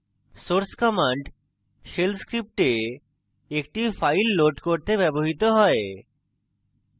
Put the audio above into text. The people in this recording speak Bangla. source command shell script একটি file load করতে ব্যবহৃত হয়